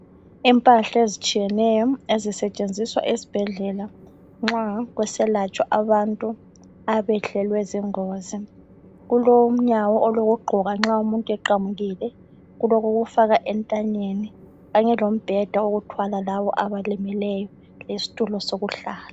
Impahla ezitshiyeneyo ezisetshenziswa esibhedlela, nxa kuselatshwa abantu abehlelwe zingozi. Kulonyawo olokugqoka nxa umuntu eqamukile. Kulokokufaka entanyeni kanye lombheda owokuthwala labo abalimeleyo, lesitulo sokuhlala.